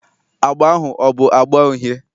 Agba ahụ ọ bụ agba uhie?